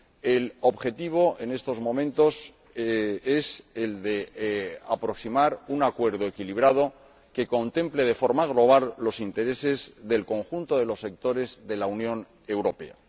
El objetivo, en estos momentos, es el de alcanzar un acuerdo equilibrado que contemple, de forma global, los intereses del conjunto de los sectores de la Unión Europea.